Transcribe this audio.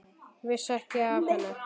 Vissi ekki af henni.